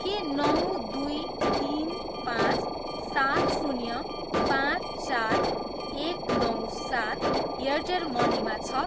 के नौ दुई तिन पाँच सात शून्य पाँच चार एक नौ सात एयरटेल मनीमा छ?